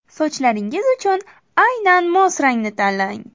Sochlaringiz uchun aynan mos rangni tanlang.